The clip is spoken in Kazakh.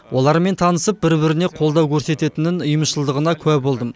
олармен танысып бір біріне қолдау көрсететінін ұйымшылдығына куә болдым